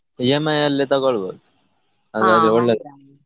EMI ಅಲ್ಲೆ ತಗೋಳ್ಬಹುದು ಅದ್ರಲ್ಲೆ ಒಳ್ಳೇದು.